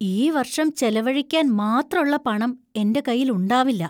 ഈ വർഷം ചെലവഴിക്കാൻ മാത്രള്ള പണം എന്‍റെ കൈയില്‍ ഉണ്ടാവില്ല.